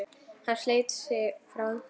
Hann sleit sig frá henni.